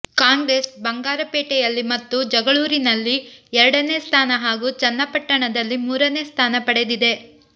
ಕಾಂಗ್ರೆಸ್ ಬಂಗಾರಪೇಟೆಯಲ್ಲಿ ಮತ್ತು ಜಗಳೂರಿನಲ್ಲಿ ಎರಡನೇ ಸ್ಥಾನ ಹಾಗೂ ಚನ್ನಪಟ್ಟಣದಲ್ಲಿ ಮೂರನೇ ಸ್ಥಾನ ಪಡೆದಿದೆ